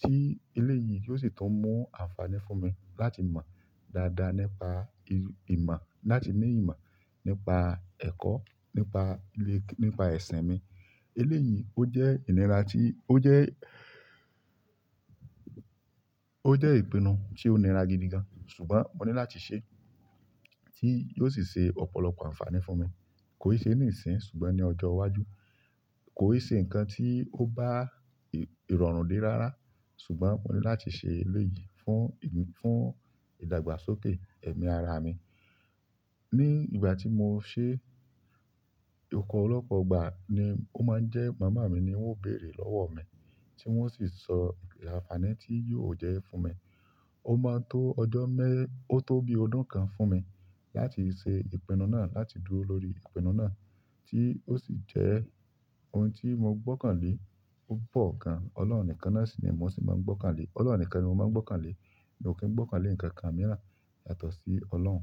tí eléyìí yóò sì tún mú àǹfààní fún mi láti mọ̀ dáadáa nípa imọ̀, láti ní ìmọ̀ nípa ẹ̀kọ́, nípa ilé, nípa ẹ̀sín mi. Eléyìí ó jẹ́ ìnira tí, ó jẹ́, ó jẹ́ ìpinnu tí ó nira gidi gan ṣùgbọ́n mo ní láti ṣe tí yóò sì ṣe ọ̀pọ̀lọpọ̀ àǹfààní fún mi. Kò ì ṣe nísin ṣùgbọ́n ní ọjọ́ iwájú. Kò ì ṣe nǹkan tí ó bá ìrọ̀rùn dé rárá ṣùgbọ́n mo ní láti ṣe eléyìí fún, fún ìdàgbàsókè ẹ̀mí ara mi. Ni ìgbà tí mo ṣe, opolọ́pọ́ ìgbà ni ó máa ń jẹ́ màmá mi ni wọ́n ó béèrè lọ́wọ́ mi tí wọ́n sì sọ àǹfààní tí yóò jẹ́ fún mi. Ó máa tó ọjọ́ mé-, ó tó bí ọdún kan fún mi láti ṣe ìpinnu náà, láti dúró lórí ìpinnu náà tí ó sì jẹ́ ohun tí mo gbọ́kàn lé. Ó pọ̀ gan. Ọlọ́run nìkan náà sì ni mo sì máa ń gbọ́kàn lé. Ọlọ́run nìkan ni mo máa ń gbọ́kàn lé. Mi o kì ń gbọ́kàn lé ǹkan kan mìíràn yàtọ̀ sí Ọlọ́run.